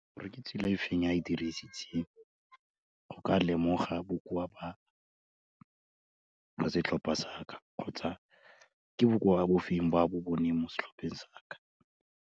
Gore ke tsela e feng e ae dirisitseng, go ka lemoga bokoa ba setlhopa sa ka, kgotsa ke bokoa bo feng ba bo boneng mo setlhopheng sa ka.